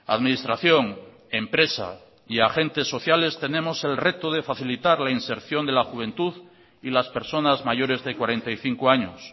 administración empresa y agentes sociales tenemos el reto de facilitar la inserción de la juventud y las personas mayores de cuarenta y cinco años